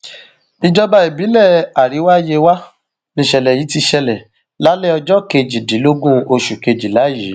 ìjọba ìbílẹ àríwá yewa nìṣẹlẹ yìí ti ṣẹlẹ lálẹ ọjọ kejìdínlógún oṣù kejìlá yìí